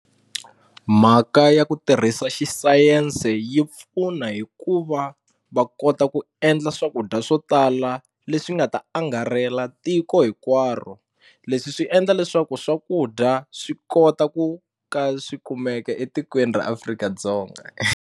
Mhaka ya ku tirhisa xi sayense yi pfuna hikuva va kota ku endla swakudya swo tala leswi nga ta angarela tiko hinkwaro leswi swi endla leswaku swakudya swi kota ku ka swikumeka etikweni ra Afrika-Dzonga.